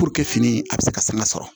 fini a bɛ se ka sanga sɔrɔ